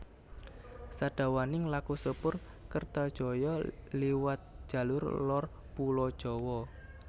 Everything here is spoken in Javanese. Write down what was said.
Sadawaning laku sepur Kertajaya liwat jalur lor pulo Jawa